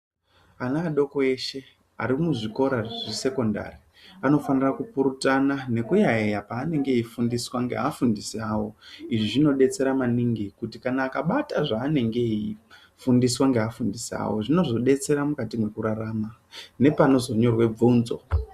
Ana adoko eshe ari muzvikora zvesekondari anofanira kupurutana nekuyaiya paanenge eifundiswa ngeafundisi avo. Izvi zvinobetsera maningi kuti akabata zvaanenge eifundiswa izvi zvinozodetsera mukati mwekurarama nepanozonyorwa bvunzo.